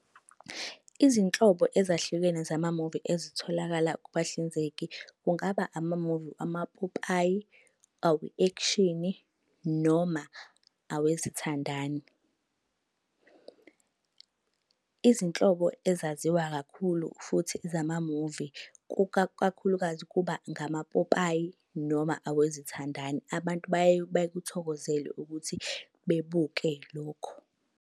Izinhlobo ezahlukene zamamuvi ezitholakala kubahlinzeki kungaba amamuvi amapopayi, awe-ekshini noma awezithandani. Izinhlobo ezaziwa kakhulu futhi zamamuvi kakhulukazi kuba ngamapopayi noma awezithandani. Abantu bayeke bekuthokozele ukuthi bebuke lokho.